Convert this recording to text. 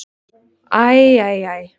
Æ, æ, æ.